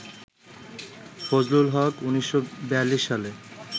ফজলুল হক ১৯৪২ সালে